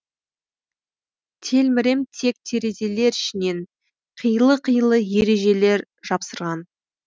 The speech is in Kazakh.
телмірем тек терезелер ішінен қилы қилы ережелер жапсырған